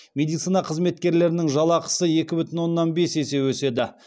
медицина қызметкерлерінің жалақысы екі бүтін оннан бес есе өседі